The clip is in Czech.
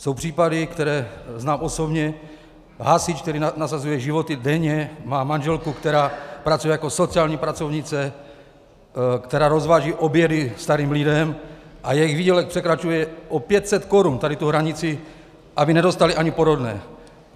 Jsou případy, které znám osobně - hasič, který nasazuje život denně, má manželku, která pracuje jako sociální pracovnice, která rozváží obědy starým lidem, a jejich výdělek překračuje o 500 korun tady tu hranici, aby nedostali ani porodné.